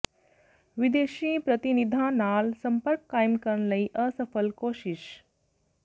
ਵਿਦੇਸ਼ੀ ਪ੍ਰਤੀਨਿਧਾਂ ਨਾਲ ਸੰਪਰਕ ਕਾਇਮ ਕਰਨ ਲਈ ਅਸਫਲ ਕੋਸ਼ਿਸ਼